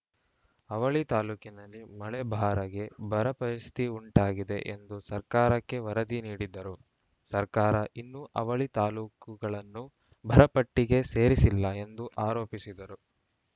ಅವಳಿ ತಾಲೂಕಿನಲ್ಲಿ ಮಳೆ ಬಾರಗೇ ಬರ ಪರಿಸ್ಥಿತಿ ಉಂಟಾಗಿದೆ ಎಂದು ಸರ್ಕಾರಕ್ಕೆ ವರದಿ ನೀಡಿದ್ದರೂ ಸರ್ಕಾರ ಇನ್ನು ಅವಳಿ ತಾಲೂಕುಗಳನ್ನು ಬರಪಟ್ಟಿಗೆ ಸೇರಿಸಿಲ್ಲ ಎಂದು ಆರೋಪಿಸಿದರು